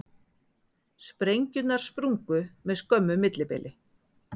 Sprengjurnar sprungu með skömmu millibili